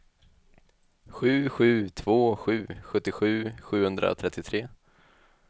sju sju två sju sjuttiosju sjuhundratrettiotre